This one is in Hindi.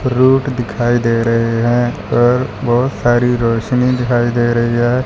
रूट दिखाई दे रहे है पर बहोत सारी रोशनी दिखाई दे रही है।